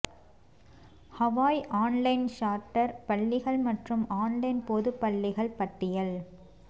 Hawaii online charter பள்ளிகள் மற்றும் online பொது பள்ளிகள் பட்டியல்